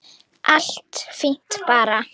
Allt fínt bara.